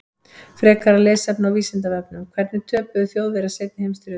Frekara lesefni á Vísindavefnum: Hvernig töpuðu Þjóðverjar seinni heimsstyrjöldinni?